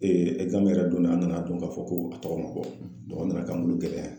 yɛrɛ donna an nana don k'a fɔ ko a tɔgɔ ma bɔ a nana ka gɛlɛya.